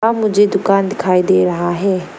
मुझे दुकान दिखाई दे रहा है।